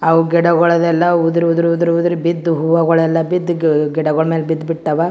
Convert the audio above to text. ಅವು ಗಿಡಗಳ್ ಎಲ್ಲಾ ಉದ್ರಿ ಉದ್ರಿ ಉದ್ರಿ ಉದ್ರಿ ಬಿದ್ದು ಹೂವಾಗುಳೆಲ್ಲಾ ಬಿದ್ದ್ ಗಿಡಗುಳ್ ಮೇಲೆ ಬಿದ್ದ್ ಬಿಟ್ಟವ್.